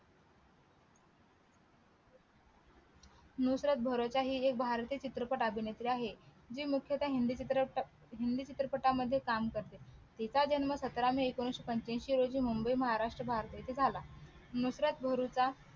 नुत्रत भारोच्या हि एक भारतीय चित्रपट अभिनेत्री आहे जी मुख्यतःहिंदी चित्रपट हिंदी चित्रपटामध्ये काम करते तीचा जन्म सतरा मे एकोणविशे पंच्यायनशी रोजी मुंबई महाराष्ट्र भारत येथे झाला नुत्रत भारोचा